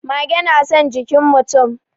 Mage na son jikin mutum.